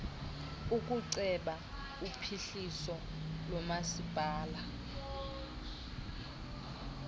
ukuceba uphuhliso lomasipala